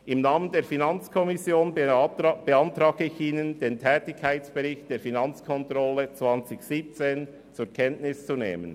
Im Namen der FiKo beantrage ich Ihnen, den Tätigkeitsbericht 2017 zur Kenntnis zu nehmen.